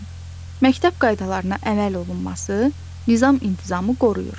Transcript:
məktəb qaydalarına əməl olunması nizam-intizamı qoruyur.